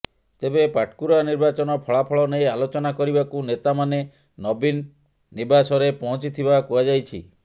ତେବେ ପାଟକୁରା ନିର୍ବାଚନ ଫଳାଫଳ ନେଇ ଆଲୋଚନା କରିବାକୁ ନେତା ମାନେ ନବୀନ ନୀବାସରେ ପହଞ୍ଚିଥିବା କୁହାଯାଇଛି